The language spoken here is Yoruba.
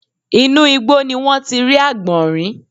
Inú igbó ni wọ́n ti rí àgbọ̀nrín